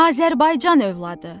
Azərbaycan övladı.